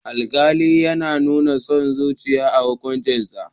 Alƙali yana nuna son zuciya a hukuncinsa.